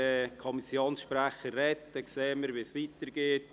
Dann sehen wir, wie es weitergeht.